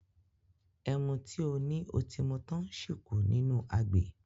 Ẹmu tí o ní o ti mu tán ṣì kù nínú agbè.